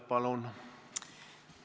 Palun!